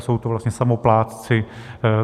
Jsou to vlastně samoplátci.